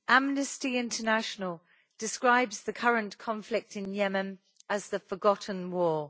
Amnesty International describes the current conflict in Yemen as the forgotten war.